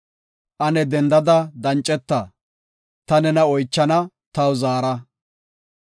Ane addeda danceta; ta nena oychana, taw zaara.